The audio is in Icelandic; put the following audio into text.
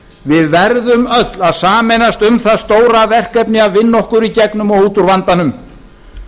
við verðum öll að sameinast um það stóra verkefni að vinna okkur í gegnum og út úr vandanum